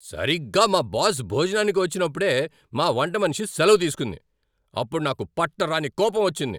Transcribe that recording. సరిగ్గా మా బాస్ భోజనానికి వచ్చినప్పుడే మా వంటమనిషి సెలవు తీసుకుంది. అప్పుడు నాకు పట్టరానికోపం వచ్చింది!